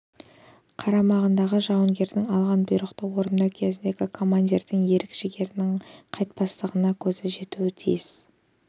қарамағындағы жауынгердің алған бұйрықты орындау кезіндегі командирдің ерік жігерінің қайтпастығына көзі жетуге тиіс